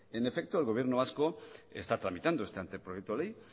en efecto el gobierno vasco está tramitando este anteproyecto de ley